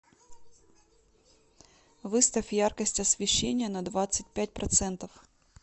выставь яркость освещения на двадцать пять процентов